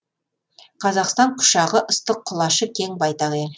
қазақстан құшағы ыстық құлашы кең байтақ ел